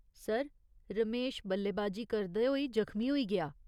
Sir, Ramesh बल्लेबाजी करदे होई जख्मी होई गेआ।